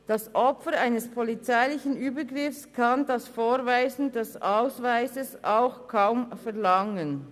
Das Opfer eines polizeilichen Übergriffs kann das Vorweisen des Ausweises auch kaum verlangen.